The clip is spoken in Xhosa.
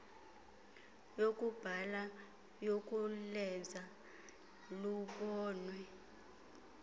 yokubhala yokulenza lubonwe